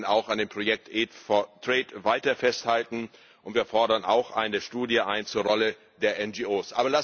Wir möchten auch an dem Projekt weiter festhalten, und wir fordern auch eine Studie ein zur Rolle der NGOs.